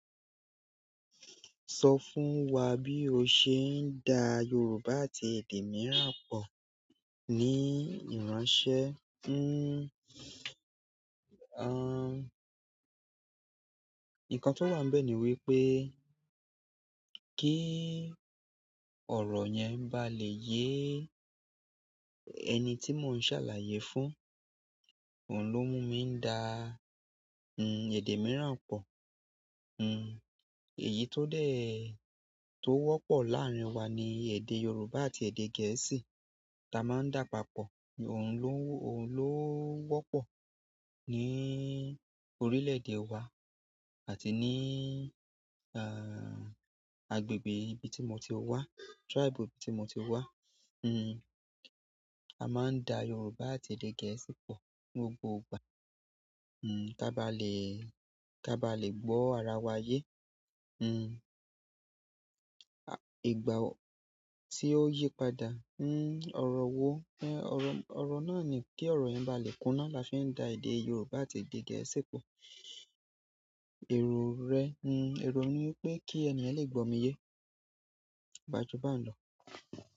Sọ fún wa bí o ṣe ń da Yorùbá àti èdè mìíràn pọ̀ ní ìránṣẹ́. Hmm, aah, nǹkan tó wà níbẹ̀ ni wípé kí ọ̀rọ̀ yẹn bá lè yé ẹni tí mò ń ṣàlàyé fún, òun ló mú mi ń da, hmm, èdè mìíràn pọ̀. Hu èyí to de to wọ́pọ̀ laarin wa ni èdè yorùbá àti èdè gẹ̀ẹ́sì ta maa n da papọ̀. Òun ló, òun ló wọ́pọ̀ ní orílẹ̀-èdè wa àti ní, aah, agbègbè ibi tí mo ti wá, tribe ibi tí mo ti wá. Hu a maa n da yorùbá àti èdè gẹ̀ẹ́sì po ni gbogbo ìgbà ka ba le ka ba le gborawa ye. À, ìgbà tí ó yí padà, hmm, ọ̀rọ̀ wo-- ẹ, ọ̀rọ̀, ọ̀rọ̀ náà ni kí ọ̀rọ̀ yẹn bá lè kúná la fi ń da èdè Yorùbá àti èdè Gẹ̀ẹ́sì pọ̀. Erò rẹ, hmm, erò mi ni wípé kí ènìyen lè gbó mi yé. Gba ju bá n lọ.